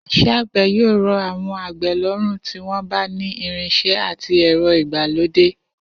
Is̩é̩ àgbè̩ yóò ro̩ àwo̩n àgbè̩ ló̩rùn tí wó̩n bá ni irins̩e̩ àti è̩ro̩ ìgbàlódé